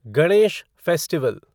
Ganesh festival